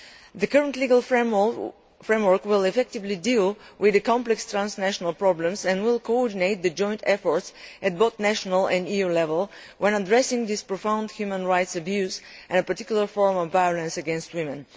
The current legal framework will effectively deal with complex transnational problems and will coordinate joint efforts at both national and EU level when addressing this profound human rights abuse and a particular form of violence against women.